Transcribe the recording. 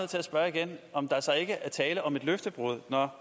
til at spørge igen om der så ikke er tale om et løftebrud når